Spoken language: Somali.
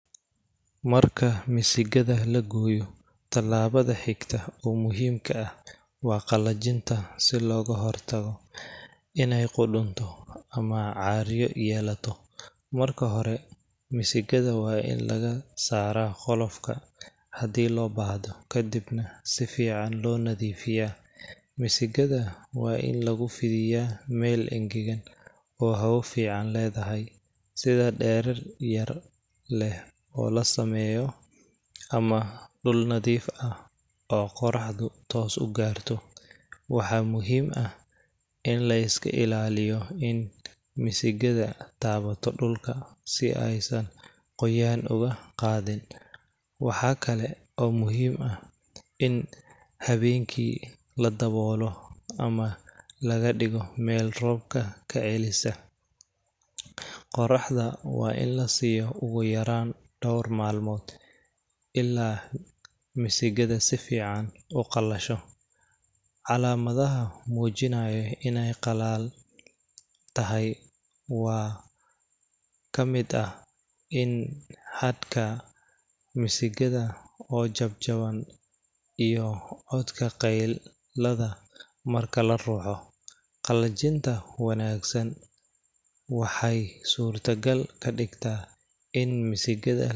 Marka misigada lagooyo talaabada xigta oo muhiimka ah waa qalajinta si looga hor tago ineey qurunto ama caaryo yeelato, marka hore misigada waa in laga saara qolofka hadii loo baahdo, kadib sifican loo nadiifiya, misigada waa in lagu fidiyaa meel engegan oo hawo fican ledahay, sida deerar yar leh oo lasameeyo ama dul nadiif ah oo qoraxdu toos ugaarto, waxaa muhiim ah in laiska ilaaliyo in misigada taabato dulka si aay san qoyaan oga qaadin, waxaa kale oo muhiim ah in habeenki ladaboolo ama laga digo meel roobka kacelisa, qoraxda waa in lasiiyo oogu yaraan door malmood, ilaa misigada si fican uqalasho, calamadaha mujinaayo ineey qaleel tahay waxaa kamid ah in habka misigada oo jabjaban iyo codka qeylada marka laruxo, qalajinta wanagsan waxeey suurta gal kadigtaa in misigada.